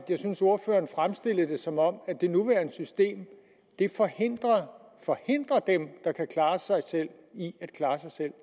jeg synes at ordføreren fremstillede det som om det nuværende system forhindrer dem der kan klare sig selv i at klare sig selv